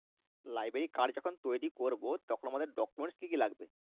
Library card যখন তৈরী করবো তখন আমাদের documents কি কি লাগবে?